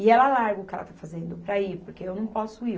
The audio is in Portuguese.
E ela larga o que ela está fazendo para ir, porque eu não posso ir.